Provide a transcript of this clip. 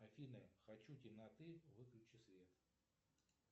афина хочу темноты выключи свет